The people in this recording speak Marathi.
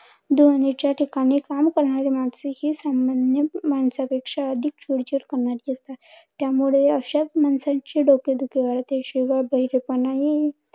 ध्वनीच्या ठिकाणी काम करणारी माणसे हि संबंधित माणसांपेक्षा अधिक चिडचिड करणारी असतात. त्यामुळे अशाच माणसांची डोकेदुखी वाढते. शिवाय बहिरेपणा हि